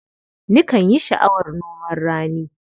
Nikan yi sha'awar noman rani.